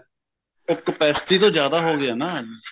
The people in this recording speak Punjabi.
ਇਹ capacity ਤੋਂ ਜਿਆਦਾ ਹੋ ਗਿਆ ਨਾ